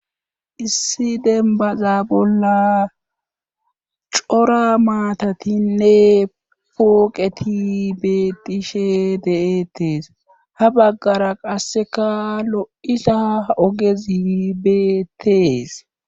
Issi denbaza bolla cora maatatinne pooqeti beetishe de;etees ha baggara qasseka lo'isa ogezibeetees.